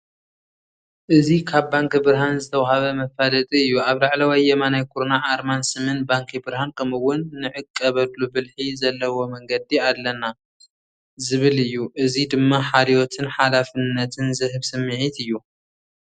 እዚ ካብ ባንኪ ብርሃን ዝተውሃበ መፋለጢ እዩ። ኣብ ላዕለዋይ የማናይ ኩርናዕ፡ ኣርማን ስምን ባንኪ ብርሃን፡ ከምኡ'ውን "ንዕቀበሉ ብልሒ ዘለዎ መንገዲ ኣለና!" ዝብል እዩ። እዚ ድማ ሓልዮትን ሓላፍነትን ዝህብ ስምዒት እዩ።